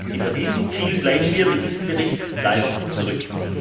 Hinter diesem Ziel bleiben wir mit diesem Bericht leider zurück.